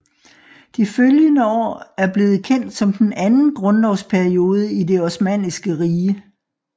De følgende år er blevet kendt som den anden grundlovsperiode i Det osmanniske Rige